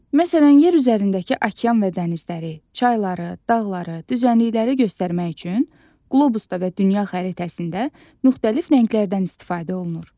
Məsələn, yer üzərindəki okean və dənizləri, çayları, dağları, düzənlikləri göstərmək üçün qlobusda və dünya xəritəsində müxtəlif rənglərdən istifadə olunur.